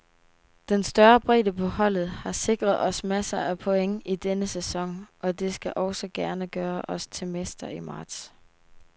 Den større bredde på holdet har sikret os masser af point i denne sæson, og det skal også gerne gøre os til mester i marts.